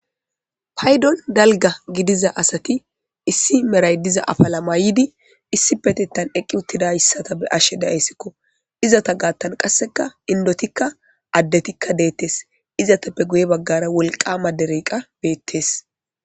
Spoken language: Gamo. paydon dalga gidiza asati issi meray diza afala maydi issi petettan eqqi uttida hssata be ashe daeyssikko izata gaattan qasseka indotikka addetikka deettes izatappe guye baggara wolqama dereqa beettes